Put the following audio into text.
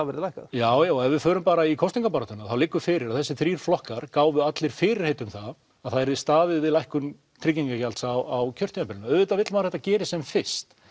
verði lækkað já já og ef við förum bara í kosningabaráttuna þá liggur fyrir að þessir þrír flokkar gáfu allir fyrirheit um það að það yrði staðið við lækkun tryggingagjalds á kjörtímabilinu og auðvitað vill maður að þetta gerist sem fyrst